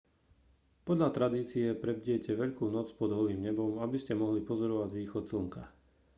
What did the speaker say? podľa tradície prebdiete veľkú noc pod holým nebom aby ste mohli pozorovať východ slnka